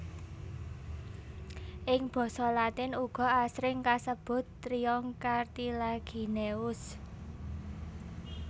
Ing basa latin uga asring kasebut Trionyx cartilagineus